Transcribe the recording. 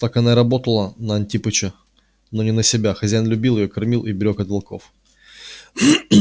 так она и работала на антипыча но не на себя хозяин любил её кормил и берёг от волков